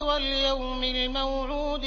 وَالْيَوْمِ الْمَوْعُودِ